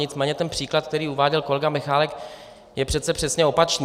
Nicméně ten příklad, který uváděl kolega Michálek, je přece přesně opačný.